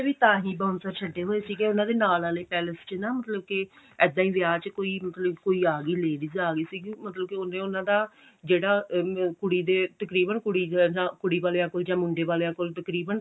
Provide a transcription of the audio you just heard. ਵੀ ਤਾਂਹੀਂ bouncer ਛੱਡੇ ਹੋਏ ਸੀਗੇ ਉਹਨਾ ਦੇ ਨਾਲ ਆਲੇ ਪੈਲੇਸ ਚ ਨਾ ਮਤਲਬ ਕਿ ਇੱਦਾਂ ਵਿਆਹ ਚ ਕੋਈ ਮਤਲਬ ਕੋਈ ਆ ਗਈ ladies ਆ ਗਈ ਸੀਗੀ ਮਤਲਬ ਕਿ ਉਹਨੇ ਉਹਨਾ ਦਾ ਜਿਹੜਾ ਕੁੜੀ ਦੇ ਤਕਰੀਬਨ ਕੁੜੀ ਵਾਲੀਆਂ ਕੋਲ ਜਾਂ ਮੁੰਡੇ ਵਾਲਿਆਂ ਕੋਲ ਤਕਰੀਬਨ